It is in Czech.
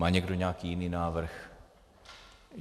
Má někdo nějaký jiný návrh?